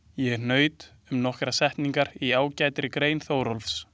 Ég hnaut um nokkrar setningar í ágætri grein Þórólfs.